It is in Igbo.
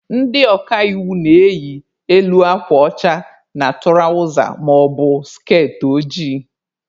Ndị ọka iwu na-eyi elu akwa ọcha na tụrawza maọbụ skertị ojii.